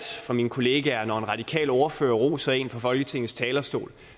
af mine kollegaer at når en radikal ordfører roser en fra folketingets talerstol